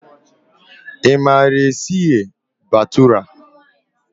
Ị maara ka esi eghe bhatura?